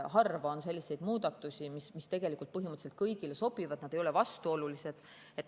Harva on selliseid muudatusi, mis põhimõtteliselt kõigile sobivad, mis ei ole vastuolulised.